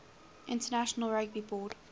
international rugby board